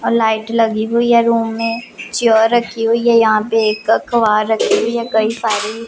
और लाइट लगी हुई है रूम में चेयर रखी हुई है। यहां पे एक अखबार रखी हुई है कई सारी।